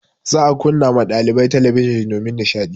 Za a kunna ma ɗalibai talabijin domin nishaɗi.